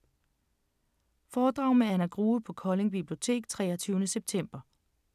Foredrag med Anna Grue på Kolding Bibliotek 23. september